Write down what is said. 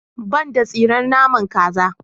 Ban da tsiren naman kaza.